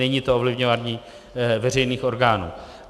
Není to ovlivňování veřejných orgánů.